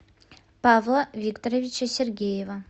павла викторовича сергеева